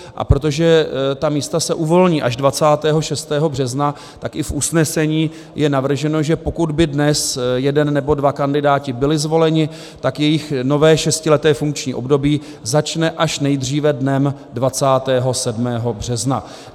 A protože ta místa se uvolní až 26. března, tak i v usnesení je navrženo, že pokud by dnes jeden nebo dva kandidáti byli zvoleni, tak jejich nové šestileté funkční období začne až nejdříve dnem 27. března.